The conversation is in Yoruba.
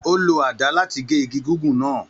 Ó lo àdá láti gé igi gígùn náà